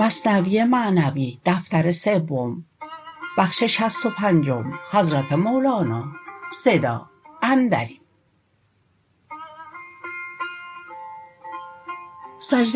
سجده